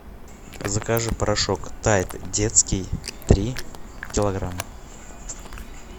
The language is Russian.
закажи порошок тайд детский три килограмма